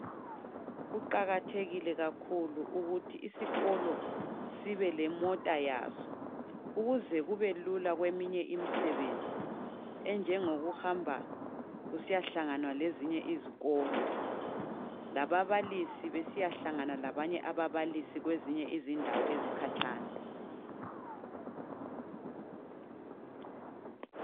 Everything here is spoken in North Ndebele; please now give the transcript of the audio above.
Kuqakathekile kakhulu ukuthi isikolo sibe lemota yaso, ukuze kubelula kweminye imisebenzi enjengokuhamba kusiyahlanganwa lezinye izikolo. Lababalisi besiyahlangana labanye ababalisi kwezinye izindawo ezikhatshana.